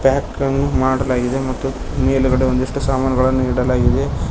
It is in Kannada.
ಪ್ಯಾಕ ನ್ನು ಮಾಡಲಾಗಿದೆ ಮತ್ತು ಮೇಲ್ಗಡೆ ಒಂದಿಷ್ಟು ಸಾಮಾನ್ಗಳನ್ನು ಇಡಲಾಗಿದೆ.